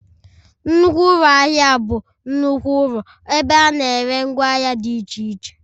Nnukwu ụlọ ahịa bụ nnukwu ụlọ ebe a na-ere ngwa ahịa dị iche iche